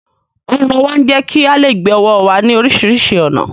Ọrùn ọwọ́ ń jẹ́ kí á lè gbé ọwọ́ wa ní oríṣiríṣi ọ̀nà